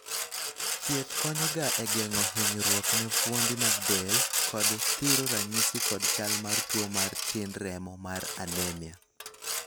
thieth konyo ga e geng'o hinyruok ne fuondi mag del, kod thiro ranyisi kod chal mar tuo mar tin remo mar anemia